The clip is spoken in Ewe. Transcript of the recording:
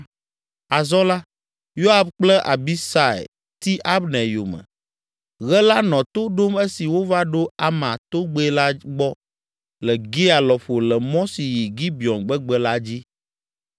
Azɔ la, Yoab kple Abisai ti Abner yome. Ɣe la nɔ to ɖom esi wova ɖo Ama togbɛ la gbɔ le Gia lɔƒo le mɔ si yi Gibeon gbegbe la dzi.